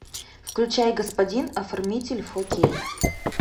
включай господин оформитель фор кей